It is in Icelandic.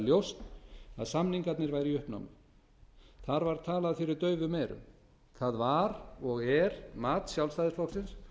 ljóst að samningarnir væru í uppnámi þar var talað fyrir daufum eyrum það var og er mat sjálfstæðisflokksins